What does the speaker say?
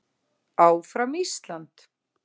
ÁFRAM ÍSLAND.